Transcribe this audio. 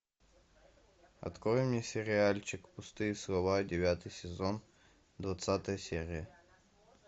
открой мне сериальчик пустые слова девятый сезон двадцатая серия